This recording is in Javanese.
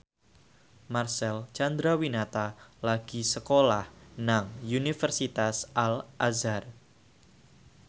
Marcel Chandrawinata lagi sekolah nang Universitas Al Azhar